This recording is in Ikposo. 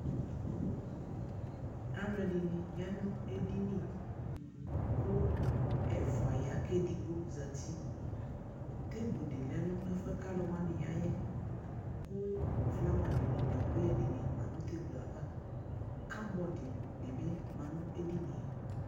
Aluɛdini ya nu edini ku ɛfua ya ku edigbo zati teble di lɛ nu ɛfuɛ aluwani yayɛ ku flawa nu ɛkuyɛdini lɛ nu teble ava ku kɔpu dinibi ma nu edinie